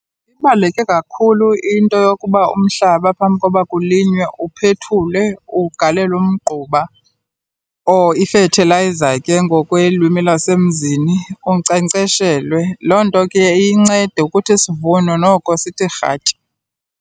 Ibaluleke kakhulu into yokuba umhlaba phambi koba kulinywe uphethulwe, ugalelwe umgquba or i-fertilizer ke ngokwelwimi lwasemzini. Unkcenkceshelwe, loo nto ke iye incede ukuthi isivuno noko sithi rhatya.